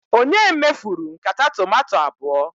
Ònye mefuru nkata tomato abụọ?